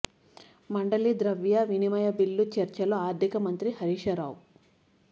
మండలి ద్రవ్య వినిమయ బిల్లు చర్చలో ఆర్థిక మంత్రి హరీశ్ రావు